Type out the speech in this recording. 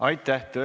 Aitäh!